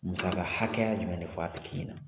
Masaka hakɛya jumɛn de bi fɔ a tigi ɲɛna ?